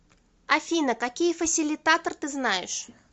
афина какие фасилитатор ты знаешь